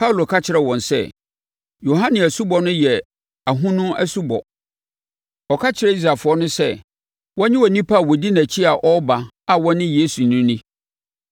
Paulo ka kyerɛɛ wɔn sɛ, “Yohane asubɔ no yɛ ahonu asubɔ. Ɔka kyerɛɛ Israelfoɔ no sɛ, wɔnnye onipa a ɔdi nʼakyi a ɔreba a ɔne Yesu no nni.”